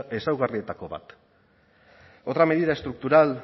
ezaugarrietako bat otra medida estructural